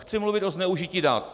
Chci mluvit o zneužití dat.